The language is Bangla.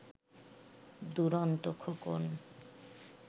দুরন্ত খোকন